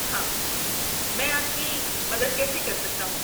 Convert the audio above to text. ہاں، میں آپ کی مدد کیسے کر سکتا ہوں؟